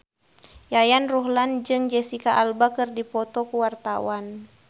Yayan Ruhlan jeung Jesicca Alba keur dipoto ku wartawan